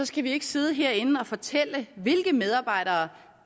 skal vi ikke sidde herinde og fortælle dem hvilke medarbejdere